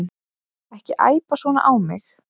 Ekki æpa svona á mig.